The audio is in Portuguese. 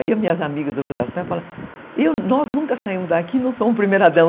Aí as minhas amigas do judaísmo falaram, nós nunca saímos daqui e não somos primeira dama.